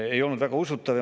Ei olnud väga usutav.